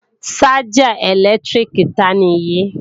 Ṣájà ẹ̀lẹ́tíríkì ta nì yí?